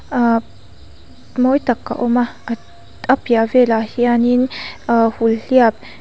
aa mawi tak a awm a apiah velah hianin aa hulhhliap.